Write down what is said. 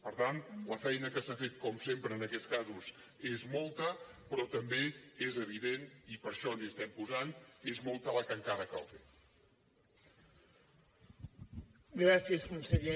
per tant la feina que s’ha fet com sempre en aquests casos és molta però també és evident i per això ens hi estem posant que és molta la que encara cal fer